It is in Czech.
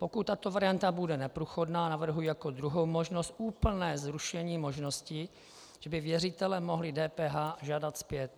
Pokud tato varianta bude neprůchodná, navrhuji jako druhou možnost úplné zrušení možnosti, že by věřitelé mohli DPH žádat zpět.